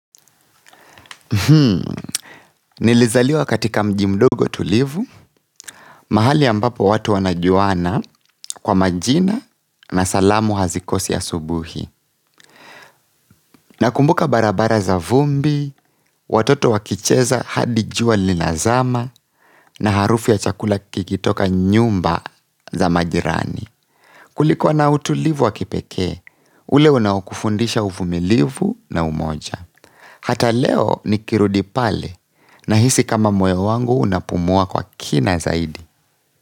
Hmm, nilizaliwa katika mji mdogo tulivu, mahali ambapo watu wanajuana kwa majina na salamu hazikosi asubuhi. Nakumbuka barabara za vumbi, watoto wakicheza hadi jua linazama na harufu ya chakula kikitoka nyumba za majirani. Kulikuwa na utulivu wa kipekee, ule unaokufundisha uvumilivu na umoja. Hata leo nikirudi pale nahisi kama moyo wangu unapumua kwa kina zaidi.